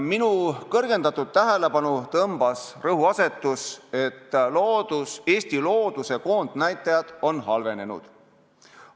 Minu kõrgendatud tähelepanu tõmbas rõhuasetus, et Eesti looduse koondnäitajad on halvenenud.